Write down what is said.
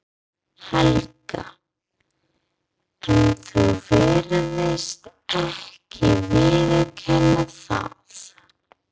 Helga: En þú virðist ekki viðurkenna það?